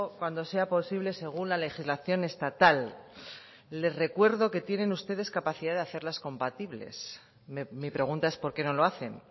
cuando sea posible según la legislación estatal les recuerdo que tienen ustedes capacidad de hacerlas compatibles mi pregunta es por qué no lo hacen